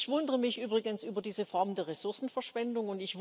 Ich wundere mich übrigens über diese Form der Ressourcenverschwendung.